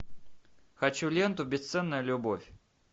хочу ленту бесценная любовь